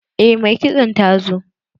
Eh mai kitson ta zo.